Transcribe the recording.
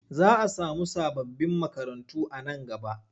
Za a samu sababbin makarantu nan gaba.